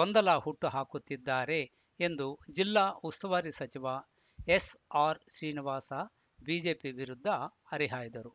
ಗೊಂದಲ ಹುಟ್ಟು ಹಾಕುತ್ತಿದ್ದಾರೆ ಎಂದು ಜಿಲ್ಲಾ ಉಸ್ತುವಾರಿ ಸಚಿವ ಎಸ್‌ಆರ್‌ಶ್ರೀನಿವಾಸ ಬಿಜೆಪಿ ವಿರುದ್ಧ ಹರಿಹಾಯ್ದರು